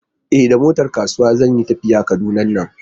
E, da motar kasuwa zan tafiya Kaduna nan.